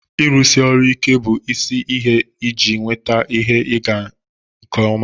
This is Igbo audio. Ịrụsi ọrụ ike bụ isi ihe iji nweta ihe ịga nke ọma